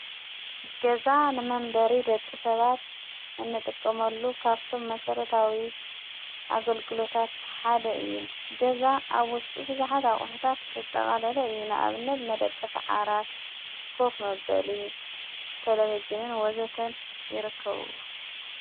ገዛ ንመንበሪ ደቂ ሰባት እንጥቀመሉ ካፍቶም መሠረታዊ ኣገልግሎታት ሓደ እዩ ገዛ ኣብ ወሽጡ ብሳኃት ኣዂኅታት ዘጠቓለለ እዩ ንኣብነት መደቀሰ ዓራት ኮፍ መበሊ ተለበጅንን ወዘተን ይረከብዎ::